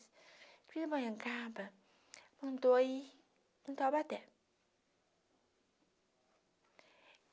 De Pindamonhangaba... Mandou ir... Em Taubaté